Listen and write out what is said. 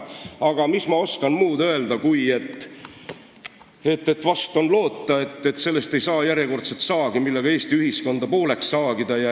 Aga mis ma oskan muud öelda, kui et vahest on loota, et sellest ei saa järjekordselt saagi, millega Eesti ühiskonda pooleks saagida.